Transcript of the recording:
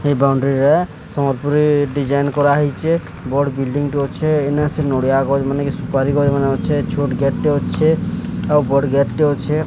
ଏ ବାଉଡିରି ରେ ସମ୍ବଲପୁରି ଡିଜାଇନ୍ କରାହେଇଚେ ବଡ଼ ବିଲ୍ଡିଗ୍ ଟି ଅଛେ ଅନେ ସେ ନଡ଼ିଆ ଅଛେ ଛୋଟ୍ ଗେଟ୍ ଟେ ଅଛେ ବଡ଼ ଗେଟ୍ ଟେ ଅଛେ।